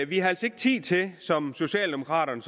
vi har altså ikke tid til som socialdemokraterne